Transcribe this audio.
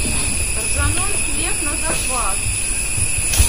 ржаной хлеб на закваске